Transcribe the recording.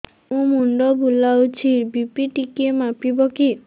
ମୋ ମୁଣ୍ଡ ବୁଲାଉଛି ବି.ପି ଟିକିଏ ମାପିବ କି